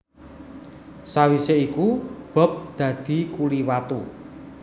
Sawisé iku Bob dadi kuli watu